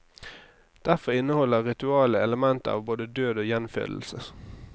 Derfor inneholder ritualet elementer av både død og gjenfødelse.